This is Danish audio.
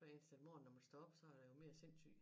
Hver eneste morgen når man står op så er der jo mere sindssyg